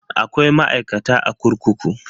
Akwai ma'aikata a kurkuku.